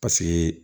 Paseke